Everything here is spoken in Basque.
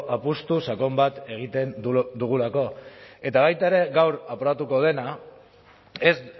apustu sakon bat egiten dugulako eta baita ere gaur aprobatuko denak ez